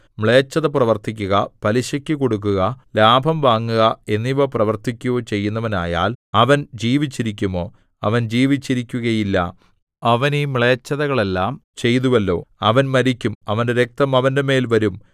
മ്ലേച്ഛത പ്രവർത്തിക്കുക പലിശയ്ക്കു കൊടുക്കുക ലാഭം വാങ്ങുക എന്നിവ പ്രവർത്തിക്കുകയോ ചെയ്യുന്നവനായാൽ അവൻ ജീവിച്ചിരിക്കുമോ അവൻ ജീവിച്ചിരിക്കുകയില്ല അവൻ ഈ മ്ലേച്ഛതകളെല്ലാം ചെയ്തുവല്ലോ അവൻ മരിക്കും അവന്റെ രക്തം അവന്റെമേൽ വരും